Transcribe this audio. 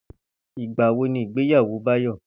Ìgbà wo ni ìgbéyàwó Báyò̩?